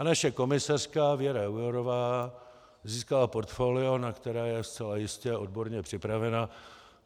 A naše komisařka Věra Jourová získala portfolio, na které je zcela jistě odborně připravena.